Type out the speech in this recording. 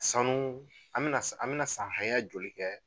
Sanu an mi na an mi na san haya joli kɛ